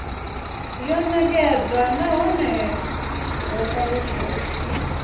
yo nekedzwa nahone ho talutshedzwa